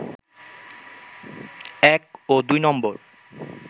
এক ও দুই নম্বর